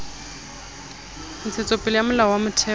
ntshetsopele ya molao wa motheo